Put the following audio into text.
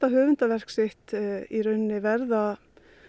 höfundaverk sitt verða